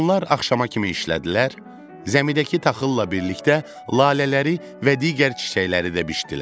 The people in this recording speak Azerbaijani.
Onlar axşama kimi işlədilər, zəmidəki taxılla birlikdə lalələri və digər çiçəkləri də biçdilər.